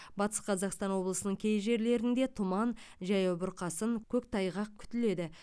батыс қазақстан облысының кей жерлерінде тұман жаяу бұрқасын көктайғақ күтіледі